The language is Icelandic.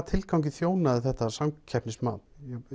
tilgangi þjónaði þetta samkeppnismat